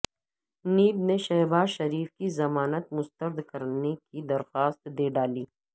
NAB نے شہبازشریف کی ضمانت مسترد کرنے کی درخواست دے ڈالی